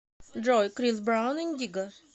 джой крис браун индиго